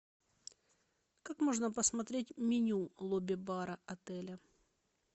как можно посмотреть меню лобби бара отеля